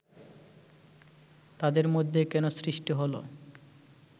তাঁদের মধ্যে কেন সৃষ্টি হলো